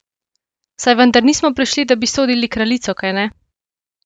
Saj vendar nismo prišli, da bi sodili kraljico, kajne?